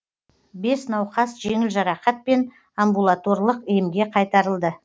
бес науқас жеңіл жарақатпен амбулаторлық емге қайтарылды